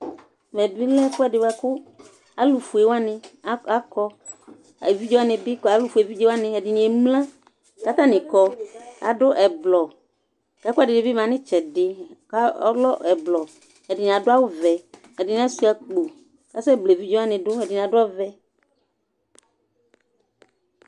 ƐMƐ bi lɛ ɛfuɛdi boa ku alufoé akɔ évidzé wa ni bi alufoé évidzé wani ɛdini émla ka atani kɔ adu ɛblɔ ku ɛkuɛdini bi ma nu tsɛdi kɔlɛ ɛblɔ ɛdini adu awu vɛ ɛdini asua akpo ka sɛ bla évidzé wani du ɛdini adu ɔvɛ